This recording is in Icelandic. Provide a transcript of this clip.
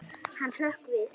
Hann hrökk við.